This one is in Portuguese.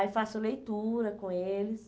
Aí faço leitura com eles.